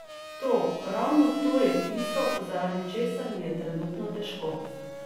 To, ravno to je tisto, zaradi česar mi je trenutno težko.